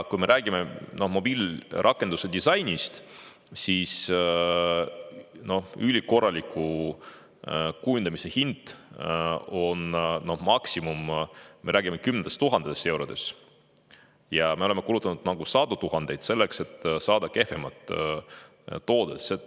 Kui me räägime mobiilirakenduse disainist, siis ülikorraliku kujunduse maksimumhind on kümned tuhanded eurod, aga me oleme kulutanud sadu tuhandeid selleks, et saada kehvem toode.